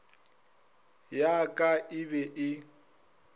ya ka e be e